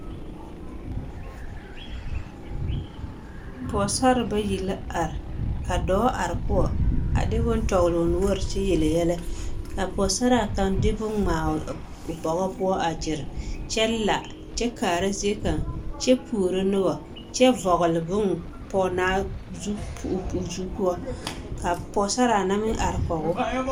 Pɔgesarre bayi la are ka dɔɔ are poɔ a de bone tɔgele o noɔre kyɛ yele yɛlɛ k'a pɔgesaraa kaŋ de bone ŋmaa o bɔgɔ poɔ a gyere kyɛ la kyɛ kaara zie kaŋ kyɛ puoro noba kyɛ vɔgele bone pɔgenaa zupoɔ ka pɔgesaraa na meŋ are kɔgoo.